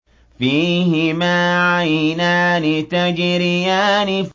فِيهِمَا عَيْنَانِ تَجْرِيَانِ